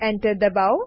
enter દબાઓ